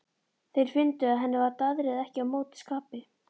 Þeir fundu að henni var daðrið ekki á móti skapi.